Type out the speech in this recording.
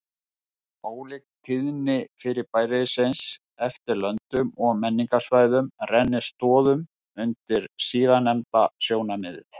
Ólík tíðni fyrirbærisins eftir löndum og menningarsvæðum rennir stoðum undir síðarnefnda sjónarmiðið.